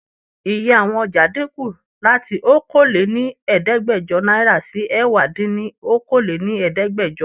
Iye àwọn ọ̀jà dínkù láti Okòó lé ní Ẹ̀ẹ́dẹ́gbẹjọ náírà sì ẹwà din ni Okòó lé ní Ẹ̀ẹ́dẹ́gbẹjọ.